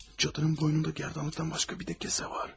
Cadının boynunda gərdanlıqdan başqa bir də kesə var.